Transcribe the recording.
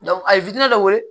a ye dɔ weele